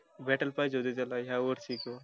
भेटायला पाहिजे होती या वर्षी.